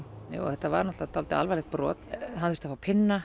þetta var náttúrulega dálítið alvarlegt brot hann þurfti að fá